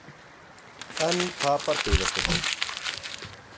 Enn tapar Byggðastofnun